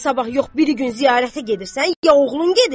Sən sabah yox birigün ziyarətə gedirsən, ya oğlun gedir?